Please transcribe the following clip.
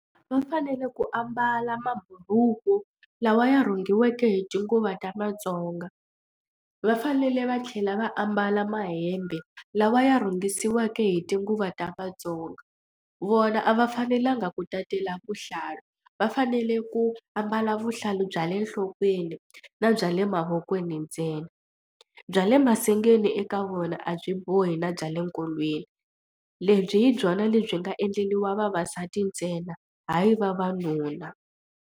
Va fanele ku ambala maburuku lawa ya rhungiweke hi tinguva ta Vatsonga va fanele va tlhela va ambala mahembe lawa ya rhungisiweke hi tinguva ta Vatsonga. Vona a va fanelanga ku tatisela vuhlalu va fanele ku ambala vuhlalu bya le nhlokweni na bya le mavokweni ntsena bya le masengeni eka vona a byi bohi na bya le nkolweni lebyi hi byona lebyi nga endleriwa vavasati ntsena hayi vavanuna.